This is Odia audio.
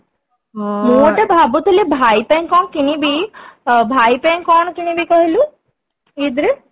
ଭାବୁଥିଲି ଭାଇ ପାଇଁ କଣ କିଣିବି ଭାଇ ପାଇଁ କଣ କିଣିବି କହିଲୁ ଇଦ ରେ